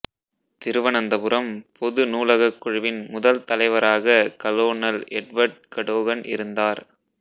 திருவனந்தபுரம் பொது நூலகக் குழுவின் முதல் தலைவராக கலோனல் எட்வர்ட் கடோகன் இருந்தார்